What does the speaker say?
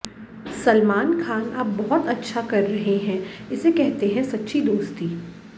सलमान खान आप बहुत अच्छा कर रहे हैं इसे कहते हैं सच्ची दोस्ती